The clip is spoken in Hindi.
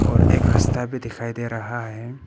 और एक रास्ता भी दिखाई दे रहा है।